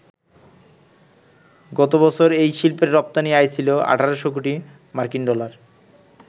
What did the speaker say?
গতবছর এই শিল্পের রপ্তানি আয় ছিল ১,৮০০ কোটি মার্কিন ডলার।